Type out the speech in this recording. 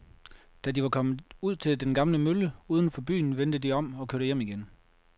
Da de var kommet ud til den gamle mølle uden for byen, vendte de om og kørte hjem igen.